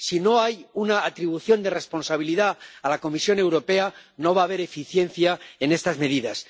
Si no hay una atribución de responsabilidad a la Comisión Europea, no va a haber eficiencia en estas medidas.